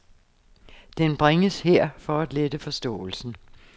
Den bringes her, for at lette forståelsen.